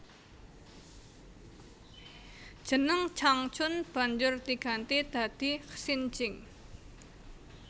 Jeneng Changchun banjur diganti dadi Xinjing